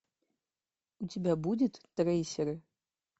у тебя будет трейсеры